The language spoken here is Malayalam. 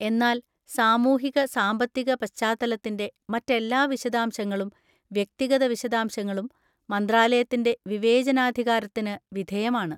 എന്നാൽ സാമൂഹിക സാമ്പത്തിക പശ്ചാത്തലത്തിന്‍റെ മറ്റെല്ലാ വിശദാംശങ്ങളും വ്യക്തിഗത വിശദാംശങ്ങളും മന്ത്രാലയത്തിന്‍റെ വിവേചനാധികാരത്തിന് വിധേയമാണ്.